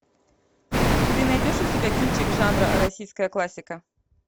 ты найдешь у себя кинчик жанра российская классика